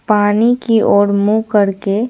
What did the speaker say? पानी की ओर मुंह करके--